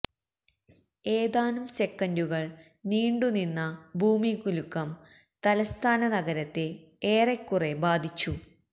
ഏതാനും സെക്കന്ഡുകള് നീണ്ടു നിന്ന ഭൂമികുലുക്കം തലസ്ഥാന നഗരത്തെ ഏറെക്കുറെ ബാധിച്ചു